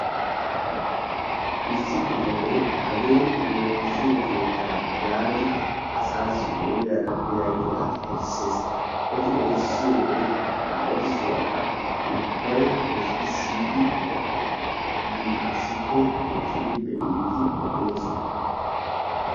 Issi bitane hagee woossiyo keettaa yaagidi asaassi ogiyara biyageeta erissses. Eti rissiyo wode ha erissuwa qa ubbay ezggi siyiiddi issippe eqqidi be'iiddi doosona.